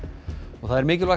það er mikilvægt